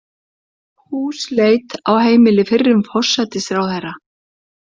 Húsleit á heimili fyrrum forsætisráðherra